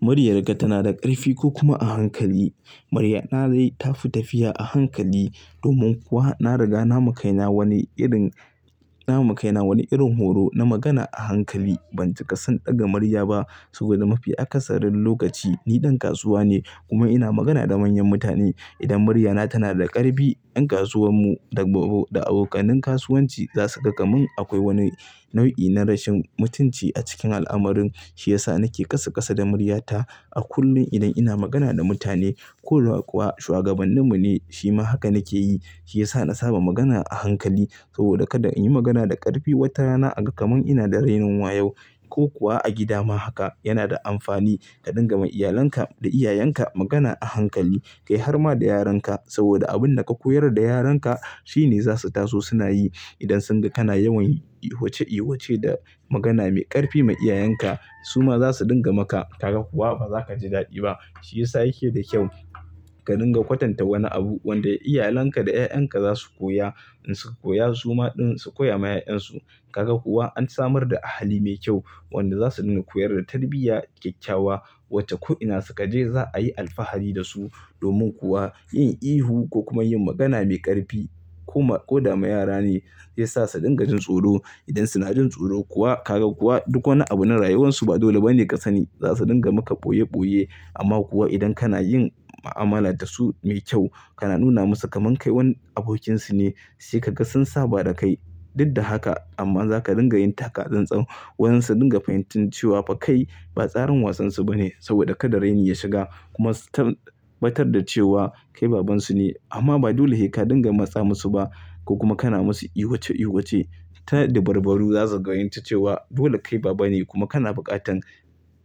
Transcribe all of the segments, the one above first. Muryarka tana da ƙarfi ko kuma a hankali? Muryana dai tafi tafiya a hankali. Domin kuwa na riga na makaina wani irin, na makaina wani irin horo na magana a hankali. Ban cika son ɗaga murya ba saboda mafi akasarin lokaci ni ɗan kasuwa ne kuma ina magana da manyan mutane. Idan muryana tana da ƙarfi, ƴan kasuwan mu da, da abokanin kasuwanci za su ga kamar akwai wani nau'i na rashin mutunci a cikin al'amarin. Shi yasa nake ƙasa ƙasa da muryata a kullum idan ina magana da mutane. Koda kuwa shuwagabanni mu ne, shi ma haka nake yi. Shi yasa na saba magana a hankali saboda kada in yi magana da ƙarfi wata rana a ga kamar ina da raini wa yau ko kuwa a gida ma haka. Yana da amfani ka dinga ma iyalanka da iyayenka magana a hankali. Kai har ma da yaranka saboda abin da ka koyar da yaranka shi ne za su taso suna yi idan sun ga kana yawan ihuwace ihuwace da magana mai ƙarfi ma iyayenka, su ma za su dinga maka. Kaga kuwa ba za ka ji daɗi ba. Shi yasa yake da kyau ka dinga kwatanta wani abu wanda iyalanka da 'ya'ya ka za su koya. In su ka koya, su ma ɗin su koya ma 'ya'yan su. Kaga kuwa an samar da ahali mai kyau wanda za su dinga koyar da tarbiyya kyakkyawa wacce ko ina suka je za a yi alfahari da su. Domin kuwa yin ihu ko kuma yin magana mai ƙarfi ko, ko da ma yara ne zai sa su dinga jin tsoro. Idan suna jin tsoro kuwa kaga kuwa duk wani abu na rayuwarsu ba dole ba ne ka sani. Za su dinga maka ɓoye ɓoye. Amma kuwa idan kana yin mu'amala da su mai kyau, kana nuna musu kamar kai wani abokinsu ne, sai ka ga sun saba da kai. Dud da haka amma za ka dinga yin taka tsan-tsan. Wan su dinga fahimtan cewa ba kai ba tsarin wasansu ba ne saboda kada rani ya shiga. Kuma su tabbatar da cewa kai babansu ne. Amma ba dole heka dinga matsa musu ba. Ko kuma kana musu ihuwace ihuwace ta da barbaru za su fahimci cewa dole kai baba ne kuma kana buƙatan,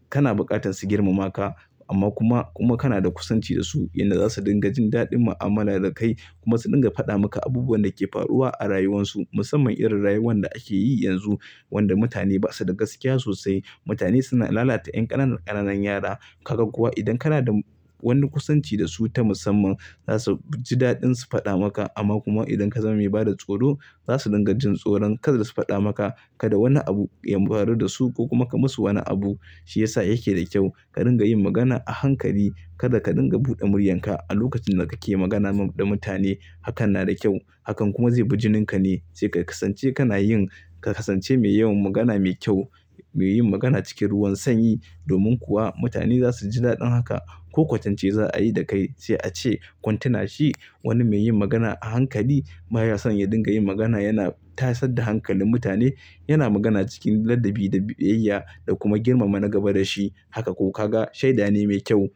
kana buƙatan su girmama ka. Amma kuma, kuma kana da kusanci da su inda za su dinga jin daɗin mu'amala da kai. Kuma su dinga faɗa maka abubuwan da ke faruwa a rayuwarsu musamman irin rayuwan da ake yi yanzu wanda mutane ba su da gaskiya sosai. Mutane suna lalata ƴan ƙananan ƙananan yara. Kaga kuwa idan kana da wani kusanci da su ta musamman, za su ji daɗin su faɗa maka. Amma kuma idan ka zama mai bada tsoro, za su dinga jin tsoron kada su faɗa maka kada wani abu ya faru da su ko kuma ka musu wani abu. Shi yasa yake da kyau ka dinga yin magana a hankali. Kada ka dinga buɗe muryanka a lokacin da kake magana da mutane. Hakan na da kyau. Hakan kuma zai biji ninka ne. Sai ka kasance kana yin, ka kasance mai yawan magana mai kyau, mai yin magana cikin ruwan sanyi. Domin kuwa mutane za su ji daɗin haka ko kwatance za a yi da kai sai a ce kuntinashi wani mai yin magana a hankali. Ba ya son ya dinga yin magana. Yana tasar da hankalin mutane. Yana magana cikin ladabi da biyayya da kuma girmama na gaba da shi. Haka ko kaga shaida ne mai kyau.